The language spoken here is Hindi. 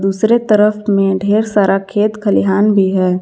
दूसरे तरफ में ढेर सारा खेत खलिहान भी है।